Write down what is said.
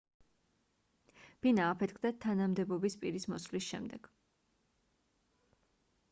ბინა აფეთქდა თანამდებობის პირის მოსვლის შემდეგ